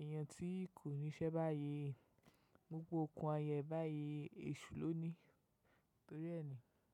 èèyàn tí kò níṣẹ́ báyìí, gbogbo okùn ayẹ́ báyìí èṣù ló ní. Torí ẹ́ ni.